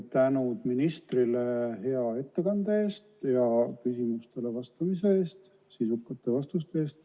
Tänu ministrile hea ettekande eest ja küsimustele sisuka vastamise eest!